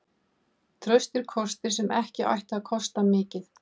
Traustir kostir sem ættu ekki að kosta mikið.